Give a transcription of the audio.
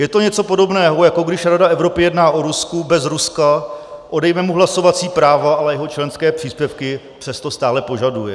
Je to něco podobného, jako když Rada Evropy jedná o Rusku bez Ruska, odejme mu hlasovací práva, ale jeho členské příspěvky přesto stále požaduje.